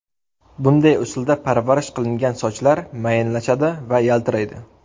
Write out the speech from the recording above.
Bunday usulda parvarish qilingan sochlar mayinlashadi va yaltiraydi.